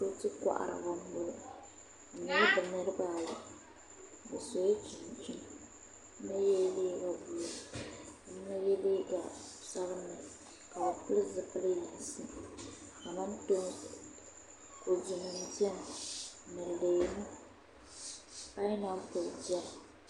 Binwoli koharibi n boŋo bi nyɛla bi niraba ayi bi sola chinchina ka yɛ liiga buluu ka yino yɛ liiga sabinli ka bi pili zipili yinsi kamantoosi kodu nim biɛni ni leemu painapuli biɛni